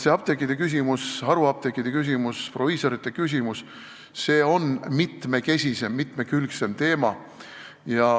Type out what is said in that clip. Apteekide küsimus, haruapteekide küsimus, proviisorite küsimus, see on mitmekesisem, mitmekülgsem teema.